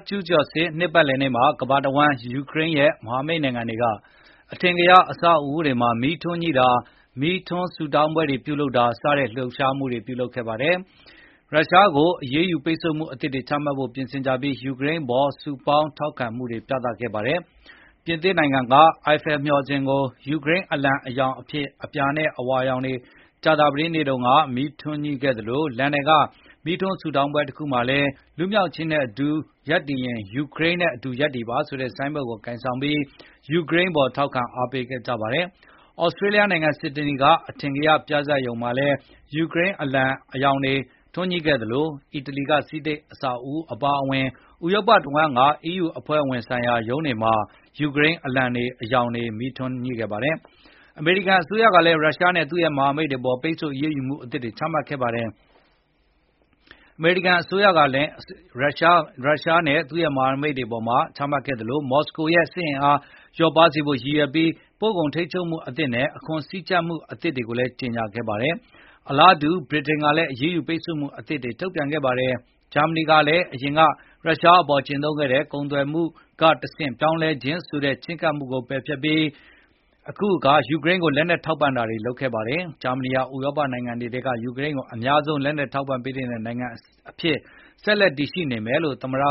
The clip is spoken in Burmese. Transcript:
ကျူးကျော်စစ် နှစ်ပတ်လည်နေ့မှာ ကမ္ဘာတဝန်းက ယူကရိန်းရဲ့ မဟာမိတ်နိုင်ငံတွေက အထင်ကရ အဆောက်အဦးတွေမှာ မီးထွန်းညှိတာ၊ မီးထွန်းဆုတောင်းပွဲတွေ ပြုလုပ်တာ စတဲ့ လှုပ်ရှားမှုတွေ ပြုလုပ်ခဲ့ကြသလို ရုရှားကို အရေးယူပိတ်ဆို့မှု အသစ်တွေ ချမှတ်ဖို့ ပြင်ဆင်ကြပြီး ယူကရိန်း အပေါ် စုပေါင်းထောက်ခံမှုတွေ ပြသခဲ့ပါတယ်။ ပြင်သစ်က အီဖယ်လ် (Eiffel) မျှော်စင်ကို ယူကရိန်း အလံ အရောင် ဖြစ်တဲ့ အပြာနဲ့ အဝါရောင် တွေနဲ့ ကြာသပတေးနေ့ညက မီးထွန်းညှိခဲ့သလို လန်ဒန်က မီးထွန်းဆုတောင်းပွဲတခုမှာလည်း "လွတ်လပ်ခြင်းနဲ့အတူ ရပ်တည်ရင် ယူကရိန်းနဲ့ အတူ ရပ်တည်ပါ" ဆိုတဲ့ ဆိုင်းဘုတ် ကိုင်ဆောင်ပြီး ယူကရိန်းအပေါ် ထောက်ခံ အားပေးခဲ့ကြပါတယ်။ သြစတြေးလျ နိုင်ငံ ဆစ်ဒနီ က အထင်ကရနေရ အော်ပရာဟောက်စ် မှာလည်း ယူကရိန်း အလံ အရောင်တွေ ထွန်းညှိခဲ့သလို အီတလီ က ဆီနိတ် အဆောက်အဦး အပါအဝင် ဥရောပတဝန်းက အီးယူ အဖွဲအစည်းဆိုင်ရာ ရုံးတွေမှာလည်း ယူကရိန်းအလံအရောင်တွေ မီးထွန်းခဲ့ပါတယ်။ အမေရိကန်အစိုးရကလည်း ရုရှားနဲ့ သူ့ မဟာမိတ်တွေအပေါ် ပိတ်ဆို့အရေးယူမှု အသစ်တွေ ချမှတ်ခဲ့ပါတယ်။ မော်စကိုရဲ့ စစ်အင်အားကို လျော့ပါးစေဖို့ ရည်ရွယ်ပြီး ပို့ကုန်ထိန်းချုပ်မှုအသစ်နဲ့ အခွန်စည်းကြပ်မှုအသစ်တွေကို ကြေညာခဲ့ပါတယ်။ အလားတူ ဗြိတိန်ကလည်း အရေးယူ ပိတ်ဆို့မှုအသစ်တွေ ထုတ်ပြန်ခဲ့ပါတယ်။ ဂျာမနီကလည်း အရင်က ရုရှအပေါ် ကျင့်သုံးခဲ့တဲ့ “ကုန်သွယ်မှုကတဆင့် ပြောင်းလဲခြင်း” ဆိုတဲ့ ချည်းကပ်မှုကို ပယ်ဖျက်ခဲ့ပြီး ယူကရိန်းကို လက်နှက်ထောက်ပံ့တာတွေ လုပ်ခဲ့ပါတယ်။ ဂျာမနီဟာ ဥရောပနိုင်ငံတွေထဲက ယူကရိန်း ကို အများဆုံး လက်နက်ထောက်ပံ့ပေးနေတဲ့ နိုင်ငံ အဖြစ် ဆက်ရှိနေမယ်လို့လည်း သမ္မတ